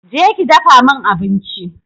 Je ki dafa min abinci